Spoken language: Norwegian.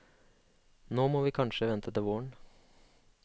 Nå må vi kanskje vente til våren.